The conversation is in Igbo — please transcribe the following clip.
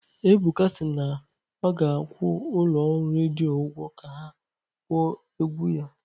Ebuka si na ọ ga-akwụ ụlọ ọrụ redio ụgwọ ka ha kpọọ egwu ya